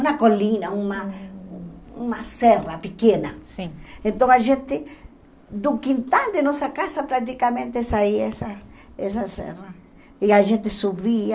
uma colina uma uma serra pequena sim então a gente do quintal de nossa casa praticamente saia essa essa serra e a gente subia